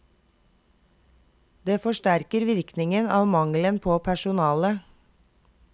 Det forsterker virkningen av mangelen på personale.